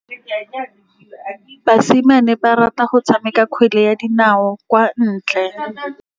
Basimane ba rata go tshameka kgwele ya dinaô kwa ntle.